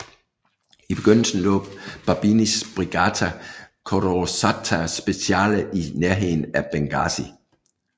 I begyndelsen lå Babinis Brigata Corazzato Speciale i nærheden af Benghazi